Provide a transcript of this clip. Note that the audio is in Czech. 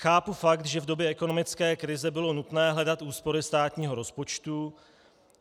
Chápu fakt, že v době ekonomické krize bylo nutné hledat úspory státního rozpočtu.